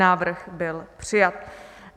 Návrh byl přijat.